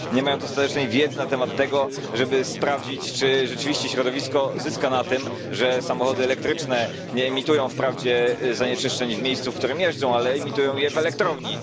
Nie mają dostatecznej wiedzy na temat tego, żeby sprawdzić czy rzeczywiście środowisko zyska na tym, że samochody elektryczne nie emitują wprawdzie zanieczyszczeń w miejscu, w którym jeżdżą, ale emitują je w elektrowni.